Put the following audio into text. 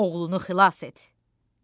oğlunu xilas et!